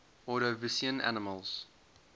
ordovician animals